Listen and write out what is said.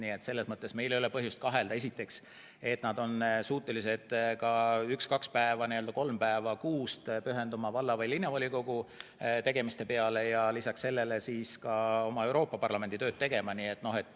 Nii et selles mõttes meil ei ole põhjust kahelda, et nad on suutelised üks-kaks-kolm päeva kuus pühenduma valla- või linnavolikogu tegemistele ja lisaks sellele ka oma Euroopa Parlamendi tööd tegema.